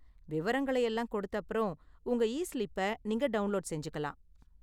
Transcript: விவரங்களை எல்லாம் கொடுத்தப்பறம் உங்க இஸ்லிப்பை நீங்க டவுன்லோடு செஞ்சிக்கலாம்.